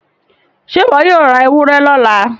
ṣe iwọ yóò rá ewúrẹ lọla?